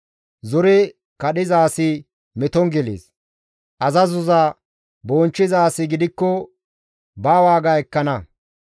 Zore kadhiza asi meton gelees; azazo bonchchiza asi gidikko ba waaga ekkana.